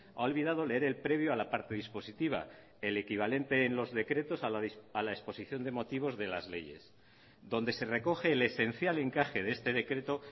ha olvidado leer el previo a la parte dispositiva el equivalente en los decretos a la exposición de motivos de las leyes donde se recoge el esencial encaje de este decreto